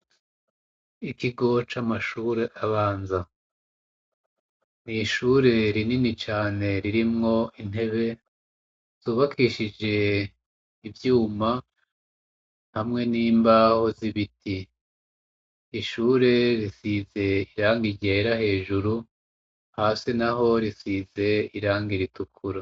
Ikigo c'amashure abanza, ni ishure rinini cane ririmwo intebe, zubakishije ivyuma, hamwe n'imbaho z'ibiti. Ishure risize irangi ryera hejuru, hasi naho risize irangi ritukura.